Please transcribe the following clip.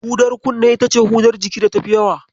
Hudar kunne ita ce hudar jiki da tafi yawa.